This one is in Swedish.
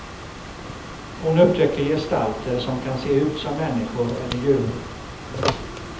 Hon upptäcker gestalter som kan se ut som människor eller djur.